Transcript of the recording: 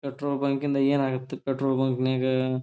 petrol bunk ಯಿಂದ ಏನಾಗತ್ petrol bunk ನ್ಯಾಗ--